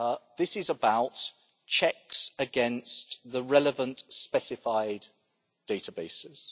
This is about checks against the relevant specified databases.